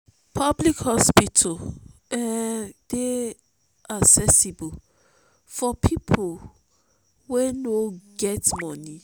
public hospital um dey accessible for pipo wey no get money